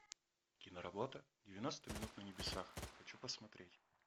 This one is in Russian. киноработа девяносто минут на небесах хочу посмотреть